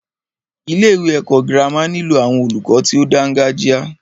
Ilé ẹ̀kọ́ gírámà nílò àwọn olùkọ tí o dáńgájia.